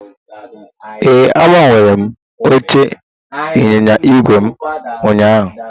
Ee, agbanwere m oche ịnyịnya ígwè ụnyaahụ